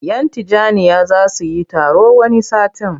Yan Tijjaniyya za su yi taro wani satin.